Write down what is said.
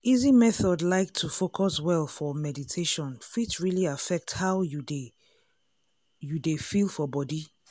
easy method like to focus well for meditation fit really affect how you dey you dey feel for body.